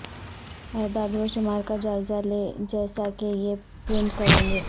اعداد و شمار کا جائزہ لیں جیسا کہ یہ پرنٹ کریں گے